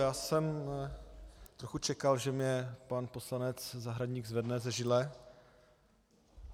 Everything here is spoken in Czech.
Já jsem trochu čekal, že mě pan poslanec Zahradník zvedne ze židle.